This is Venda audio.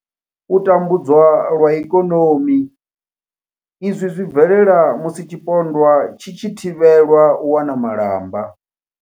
U tambudzwa lwa ikonomi izwi zwi bvelela musi tshipondwa tshi tshi thivhelwa u wana malamba.